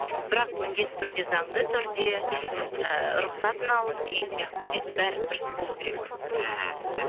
бірақ міндетті түрде заңды түрде мхм і рұқсатын алып деген сияқты сөйтіп бәрі дұрыс болу керек мхм мхм